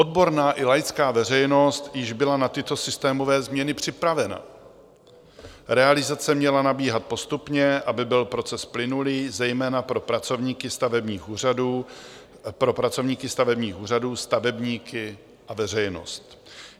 Odborná i laická veřejnost již byla na tyto systémové změny připravena, realizace měla nabíhat postupně, aby byl proces plynulý zejména pro pracovníky stavebních úřadů, stavebníky a veřejnost.